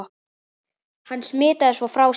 Hann smitaði svo frá sér.